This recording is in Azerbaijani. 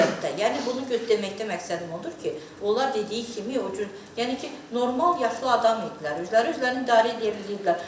Yəni bunu deməkdə məqsədim odur ki, onlar dediyi kimi o cür yəni ki, normal yaşlı adam idilər, özləri özlərini idarə eləyə bilirdilər.